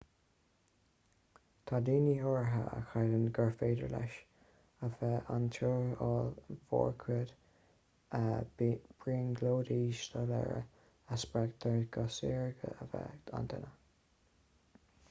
tá daoine áirithe a chreideann gur féidir leis a bheith an-tuirsiúil mórchuid brionglóidí soiléire a spreagtar go saorga a bheith ag an duine